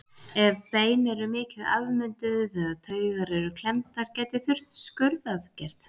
Ef bein eru mikið afmynduð eða taugar eru klemmdar gæti þurft skurðaðgerð.